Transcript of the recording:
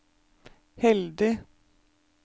heldig